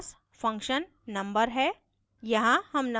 फिर हमारे पास function number है